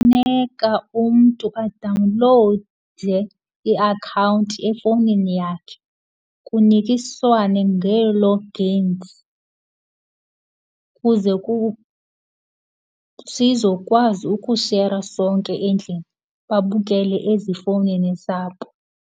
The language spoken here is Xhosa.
Umntu adawunlowude iakhawunti efowunini yakhe, kunikiswane ngee-logins kuze sizokwazi ukushera sonke endlini, babukele ezifowunini zabo.